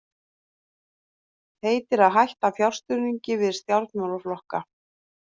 Heitir að hætta fjárstuðningi við stjórnmálaflokka